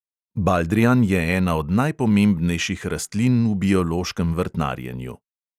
Baldrijan je ena od najpomembnejših rastlin v biološkem vrtnarjenju.